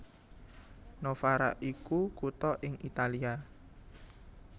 Novara iku kutha ing Italia